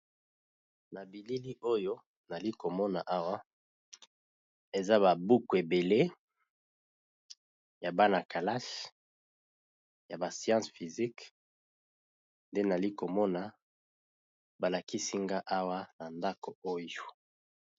Na bilili nazali komona awa, eza ba buku ébélé ya bana ya kelasi